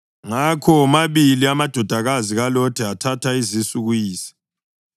Ngakho womabili amadodakazi kaLothi athatha izisu kuyise.